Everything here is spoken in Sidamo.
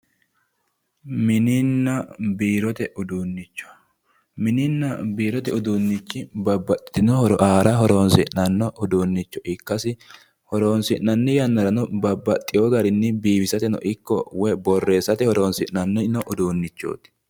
Mininna biirote uduunnicho mininna biirote uduunnichi babbaxxitino horo aara horoonsidhanno uduunnicho ikkasi horoonsi'nanni yannarano babbaxxewo garinni biifisateno ikko woyi borreessate horoonsi'nanni uduunnichooti